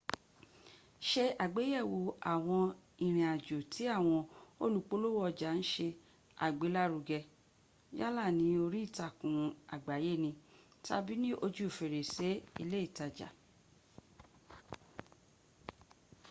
ṣe àgbéyẹ̀wò àwọn ìrìnàjò tí awọn olùpolówó ọjà ń se àgbélárugẹ yálà ní orí ìtàkùn àgbáyé ni tàbí ní ojú fèrèsè ilé ìtajà